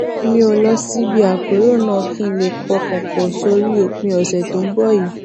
mi ò lọ síbi àpérò náà kí n lè pọkàn pò sórí òpin ọsẹ tó ń bò yìí